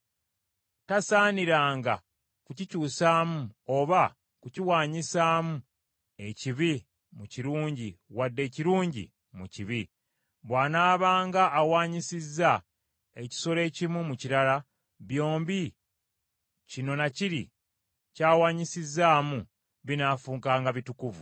Tasaaniranga kukikyusaamu oba kukiwaanyisaamu ekibi mu kirungi wadde ekirungi mu kibi; bw’anaabanga awaanyisizza ekisolo ekimu mu kirala, byombi kino na kiri ky’awanyisizzaamu binaafuukanga bitukuvu.